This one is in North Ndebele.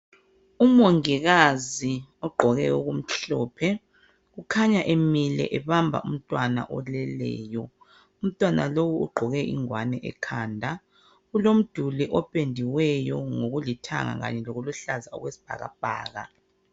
Umongikazi ogqoke okumhlophe kukhanya emile ebamba umntwana oleleyo, umntwana lowu ugqoke ingwani ekhanda kulomduli opendiweyo ngokulithanga lokuluhlaza okwesibhakabhaka.